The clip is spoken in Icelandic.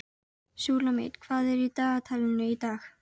Súlamít, hvað er á dagatalinu í dag?